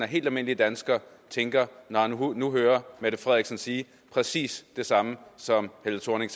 helt almindelig dansker tænker når han nu hører mette frederiksen sige præcis det samme som helle thorning